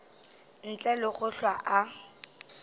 ntle le go hlwa a